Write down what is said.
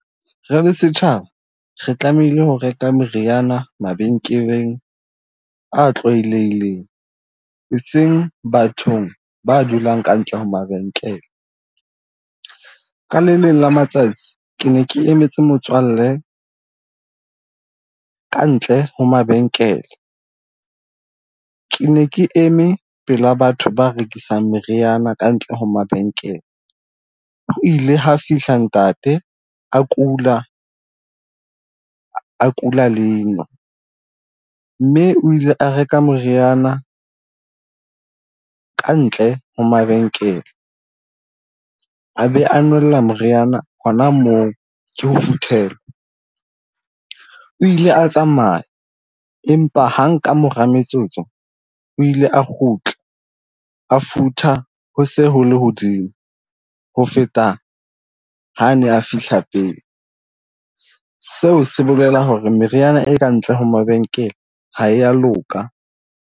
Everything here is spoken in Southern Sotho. Re le setjhaba re tlamehile ho reka meriana mabenkeleng a tlwaelehileng, eseng bathong ba dulang ka ntle ho mabenkele. Ka le leng la matsatsi ke ne ke emetse motswalle kantle ho mabenkele, ke ne ke eme pela batho ba rekisang meriana kantle ho mabenkele. Ho ile ha fihla ntate a kula, a kula leino mme o ile a reka moriana kantle ho mabenkele. A be a nwella moriana hona moo ke ho , o ile a tsamaye empa hang ka mora metsotso o ile a kgutla, a futha ho se ho lehodimo ho feta ha ane a fihla pele. Seo se bolela hore meriana e ka ntle ho mabenkele ha e ya loka.